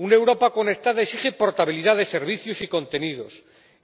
Una Europa conectada exige portabilidad de servicios y contenidos,